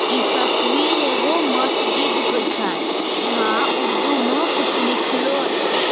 इ तस्वीर एगो मस्जिद के छै यहाँ उर्दू मे कुछ लिखलो छै।